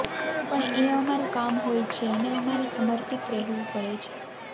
પણ એ અમારું કામ હોય છે એને અમારે સર્મિપત રહેવું પડે છે